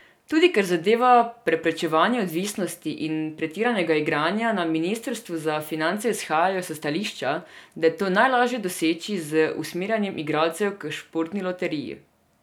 Tudi kar zadeva preprečevanje odvisnosti in pretiranega igranja, na ministrstvu za finance izhajajo s stališča, da je to najlažje doseči z usmerjanjem igralcev k Športni loteriji.